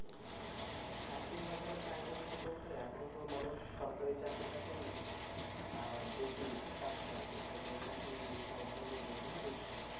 চাকরির বাজারে চাহিদা বেশি বলতে এখন তো মানুষ সরকারি চাকরিটাকে বেশি চাচ্ছে আরকি। সরকারি চাকরি করার জন্য মানুষ বেশি ছুটছে